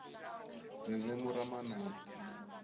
ririmi ra manana